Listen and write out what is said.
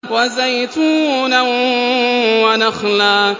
وَزَيْتُونًا وَنَخْلًا